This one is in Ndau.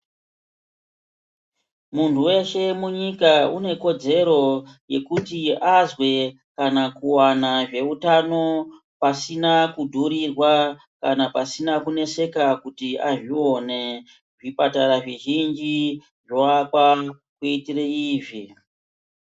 Munhu weshe munyika ,unekodzero yekuti azwe kanakuwana zvehutano pasina kudhurirwa kana pasina kuneseka kuti azviwone. Zvipatara zvizhinji zvovakwa kuitire izvi.